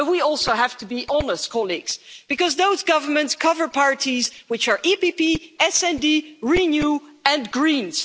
But we also have to be honest colleagues because those governments cover parties which are EPP, SD, RENEW and the Greens.